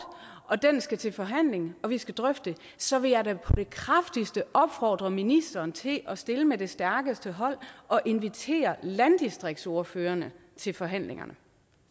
og den skal til forhandling og vi skal drøfte så vil jeg da på det kraftigste opfordre ministeren til at stille med det stærkeste hold og invitere landdistriktsordførerne til forhandlingerne